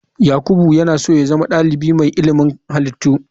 Yakubu yana so ya zama dalibi mai ilimin halittu.